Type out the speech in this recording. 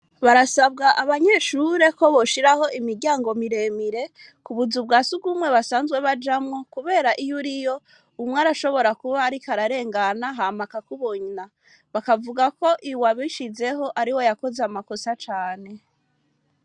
Barasabwa, abanyeshure, ko boshiraho imiryango miremire, ku buzu bwa surwumwe, basanzwe bajamwo; kubera, iyo uriyo, umwe arashobora kuba, ariko ararengana, hama akakubona; bakavuga ko, uwabishizeho, ariwe yakoze amakosa cane.